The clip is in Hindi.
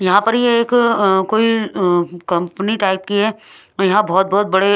यहां पर यह एक अं कोई अं कंपनी टाइप की है यहां बहुत-बहुत बड़े--